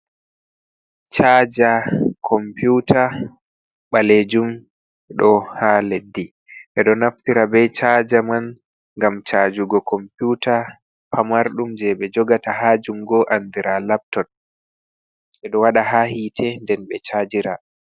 Chaaja kompiuta ɓaleejum, ɗo ha leddi, ɓe ɗo naftira be chaaja man ngam chaajugo kompiuta pamarɗum je ɓe jogata ha jungo andiraa laptop, ɓe ɗo waɗa ha hiite nden ɓe chaajira.